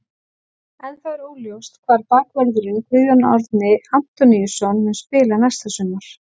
Ennþá er óljóst hvar bakvörðurinn Guðjón Árni Antoníusson mun spila næsta sumar.